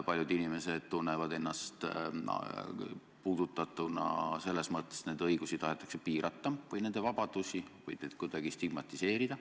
Paljud inimesed tunnevad ennast puudutatuna, sest nende õigusi ja vabadusi tahetakse piirata või neid kuidagi stigmatiseerida.